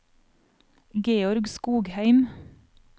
Georg Skogheim